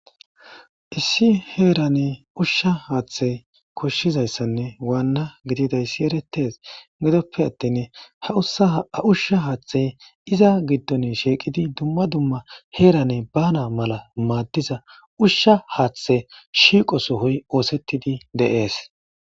Issi heerane ushsha haaththey koshshizayssanne waanna gididayssi eretes gedoppe attin ha ushsha haaththey iza giddon shiiqidi dumma dumma heerane bana mala maaddiza ushsha haaththe shiiqo sohoy oosettidi deees.